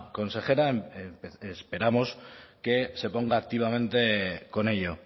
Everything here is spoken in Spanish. consejera esperamos que se ponga activamente con ello